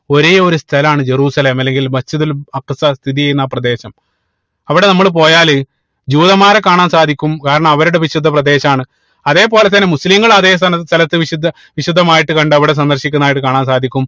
ഒരേ ഒരു സ്ഥലമാണ് ജെറുസലേം അല്ലെങ്കിൽ Masjid ഉൽ അക്സ സ്ഥിതി ചെയ്യുന്ന ആ പ്രദേശം അവിടെ നമ്മള് പോയാല് ജൂതന്മാരെ കാണാൻ സാധിക്കും കാരണം അവരുടെ വിശുദ്ധ പ്രദേശാണ് അതേപോലെ തന്നെ മുസ്ലിങ്ങളെ അതെ സ്ഥല സ്ഥലത്ത് വിശുദ്ധ വിശുദ്ധമായിട്ട് കണ്ട് അവിടെ സന്ദർശിക്കുന്നതായിട്ട് കാണാൻ സാധിക്കും